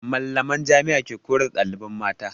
Mallaman Jami'a ke koyar da ɗaliban jami'a.